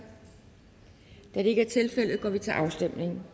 da det ikke er tilfældet går vi til afstemning